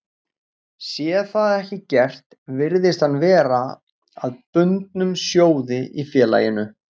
Sé það ekki gert virðist hann verða að bundnum sjóði í félaginu.